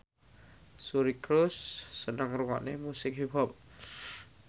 Suri Cruise seneng ngrungokne musik hip hop